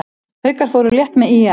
Haukar fóru létt með ÍR